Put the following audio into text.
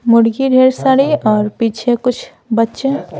मुर्गी ढेर सारी और पीछे कुछ बच्चे--